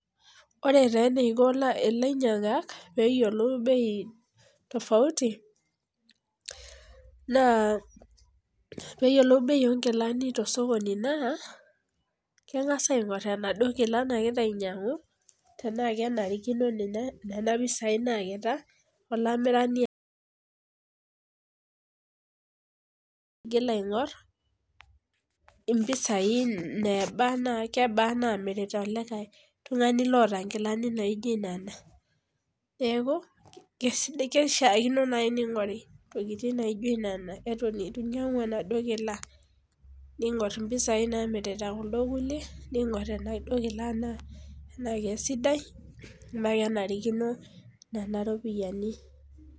ore taa eniko ilanyiangak pee eyiolou bei tafauti naa pee eyiolou bei oo inkilani tosokoni kengas aing'or inaduo kilani, naa gira ainyang'u alamirani, ineba naa kebaa inemirita oleng oltungani loota inkilani naijo nena ningor tenaa kenarikino nena ropiyiani.